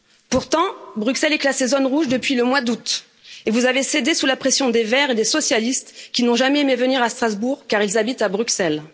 Pourtant, Bruxelles est classée zone rouge depuis le mois d'août et vous avez cédé sous la pression des Verts et des socialistes qui n'ont jamais aimé venir à Strasbourg car ils habitent à Bruxelles.